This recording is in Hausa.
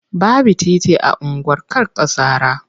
Baby titi a unguwar Karkasara.